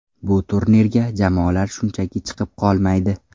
Bu turnirga jamoalar shunchaki chiqib qolmaydi.